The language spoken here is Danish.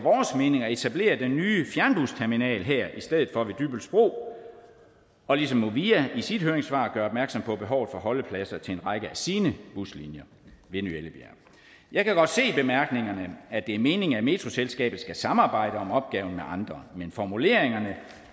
mening at etablere den nye fjernbusterminal her i stedet for ved dybbølsbro ligesom movia i sit høringssvar gør opmærksom på behovet for holdepladser til en række af sine buslinjer ved ny ellebjerg jeg kan godt se i bemærkningerne at det er meningen at metroselskabet skal samarbejde om opgaven med andre men formuleringerne